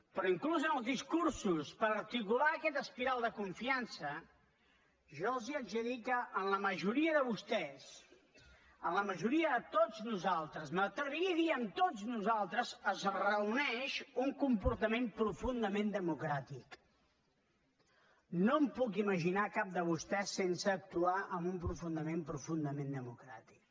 però inclús en els discursos per articular aquesta espiral de confiança jo els haig de dir que en la majoria de vostès en la majoria de tots nosaltres m’atreviria a dir amb tots nosaltres es reuneix un comportament profundament democràtic no em puc imaginar cap de vostès sense actuar amb un comportament profundament democràtic